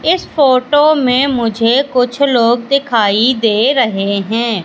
इस फोटो में मुझे कुछ लोग दिखाई दे रहे हैं।